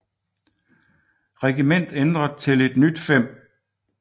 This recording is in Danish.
Regiment ændret til et nyt 5